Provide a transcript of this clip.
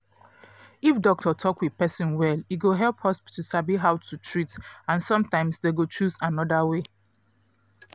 if doctor talk with person well e go help hospital sabi how to treat and sometimes dem go choose another way